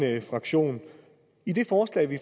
fraktion i det forslag vi